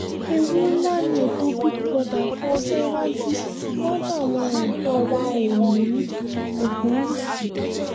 ewu ńlá ni ètò big brother fún ọjọ́ iwájú iwájú àwọn ọ̀dọ́ wa oòní ogunwúsì